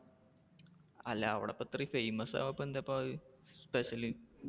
അല്ല അവിടിപ്പോ അത്രേം famous ആവാൻ ഇപ്പൊ എന്താ ഇപ്പൊ അത്? special